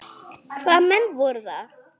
Hvaða menn voru það?